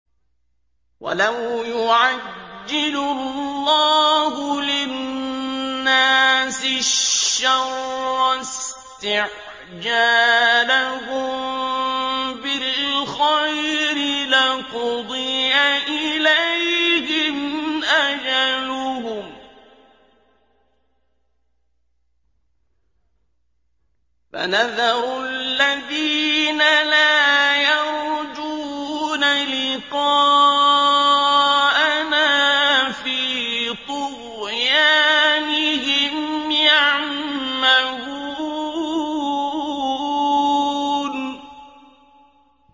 ۞ وَلَوْ يُعَجِّلُ اللَّهُ لِلنَّاسِ الشَّرَّ اسْتِعْجَالَهُم بِالْخَيْرِ لَقُضِيَ إِلَيْهِمْ أَجَلُهُمْ ۖ فَنَذَرُ الَّذِينَ لَا يَرْجُونَ لِقَاءَنَا فِي طُغْيَانِهِمْ يَعْمَهُونَ